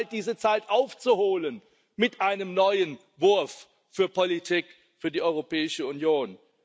Es wird Zeit, diese Zeit aufzuholen mit einem neuen Wurf für Politik, für die Europäische Union.